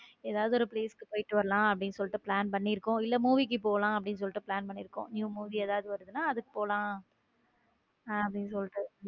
ஏதாவது ஒரு place க்கு போயிட்டு வரலாம் அப்படின்னு சொல்லிட்டு plan பண்ணி இருக்கோம் இல்ல movie கி போலாம்னு அப்பிடின்னு சொல்லிடு plan பண்ணி இருக்கோம new movie ஏதாவது வருதுன்னா அதுக்கு போலாம அப்படின்னு சொல்லிட்டு.